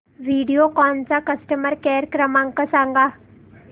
व्हिडिओकॉन चा customer care क्रमांक सांगा